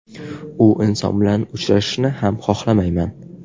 U inson bilan uchrashishni ham xohlamayman.